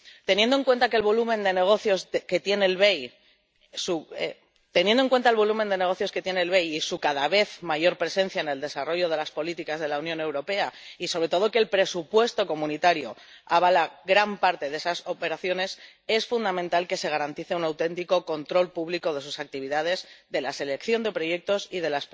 Teniendo en cuenta el volumen de negocios que tiene el BEI y su cada vez mayor presencia en el desarrollo de las políticas de la Unión Europea y, sobre todo, que el presupuesto comunitario avala gran parte de esas operaciones, es fundamental que se garantice un auténtico control público de sus actividades, de la selección de proyectos y de